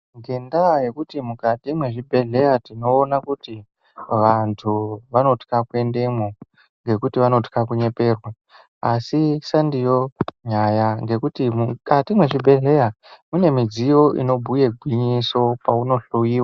Nendaa yekuti mukati mwezvibhedhleya tinoona kuti vantu vanotwa kuendemwo ngekuti vanotwa kunyeberwa. Asi sandiyo nyaya nekuti mukati mwezvibhedhleya mune midziyo inobhuye gwinyiso paunohloiwa.